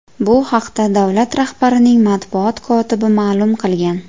Bu haqda davlat rahbarining matbuot kotibi ma’lum qilgan.